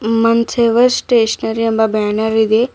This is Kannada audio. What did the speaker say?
ಮಂಚೇವ ಸ್ಟೇಷನರಿ ಎಂಬ ಬ್ಯಾನರ್ ಇದೆ.